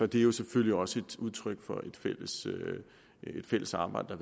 det jo selvfølgelig også udtryk for et fælles arbejde